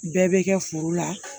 Bɛɛ bɛ kɛ foro la